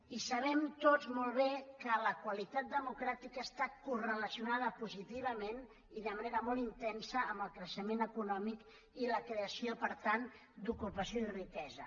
i sabem tots molt bé que la qualitat democràtica està correlacionada positivament i de manera molt intensa amb el creixement econòmic i la creació per tant d’ocupació i riquesa